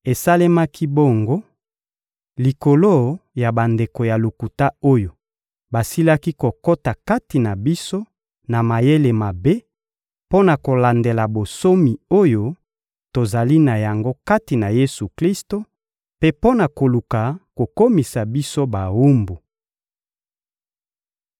Esalemaki bongo likolo ya bandeko ya lokuta oyo basilaki kokota kati na biso na mayele mabe mpo na kolandela bonsomi oyo tozali na yango kati na Yesu-Klisto mpe mpo na koluka kokomisa biso bawumbu.